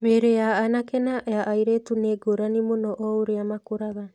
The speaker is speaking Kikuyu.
Mĩĩrĩ ya anake na ya airĩtu nĩ ngũrani mũno o ũrĩa makũraga.